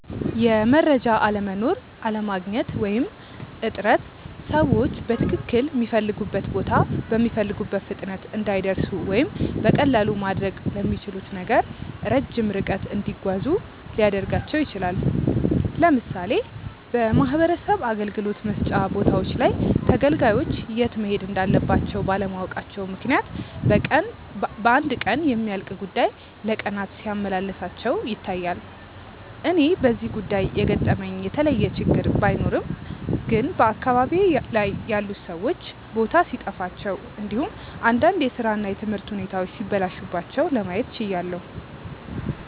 የመረጃ አለመኖር፣ አለማግኘት ወይም እጥረት ሰዎችን በትክልል ሚፈልጉበት ቦታ በሚፈልጉት ፍጥነት እንዳይደርሱ ወይም በቀላሉ ማድረግ ለሚችሉት ነገር ረጅም ርቀት እንዲጓዙ ሊያደርጋቸው ይችላል። ለምሳሌ በማህበረሰብ አገልግሎት መስጫ ቦታዎች ላይ ተገልጋዮች የት መሄድ እንዳለባቸው ባለማወቃቸው ምክንያት በአንድ ቀን የሚያልቅ ጉዳይ ለቀናት ሲያመላልሳቸው ይታያል። እኔ በዚህ ጉዳይ የገጠመኝ የተለየ ችግር ባይኖርም ግን በአካባቢዬ ላይ ያሉት ሰዎች ቦታ ሲጠፋቸው እንዲሁም እንዳንድ የስራ እና የትምህርት ሁኔታዎች ሲበላሹባቸው ለማየት ችያለው።